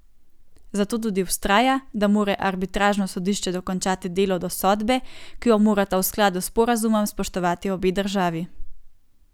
Zato tudi vztraja, da mora arbitražno sodišče dokončati delo do sodbe, ki jo morata v skladu s sporazumom spoštovati obe državi.